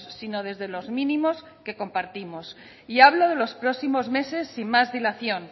sino desde los mínimos que compartimos y hablo de los próximos meses sin más dilación